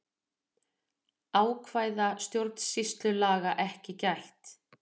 Ákvæða stjórnsýslulaga ekki gætt